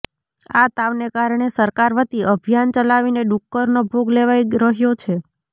આ તાવને કારણે સરકાર વતી અભિયાન ચલાવીને ડુક્કરનો ભોગ લેવાઇ રહ્યો છે